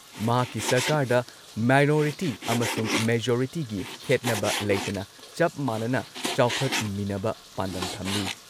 ꯃꯍꯥꯛꯀꯤ ꯁꯔꯀꯥꯔꯗ ꯃꯥꯏꯅꯣꯔꯤꯇꯤ ꯑꯃꯁꯨꯡ ꯃꯦꯖꯣꯔꯤꯇꯤꯒꯤ ꯈꯦꯠꯅꯕ ꯂꯩꯇꯅ, ꯆꯞ ꯃꯥꯟꯅꯅ ꯆꯥꯎꯈꯠꯃꯤꯟꯅꯅꯕ ꯄꯥꯝꯗꯝ ꯊꯝꯂꯤ ꯫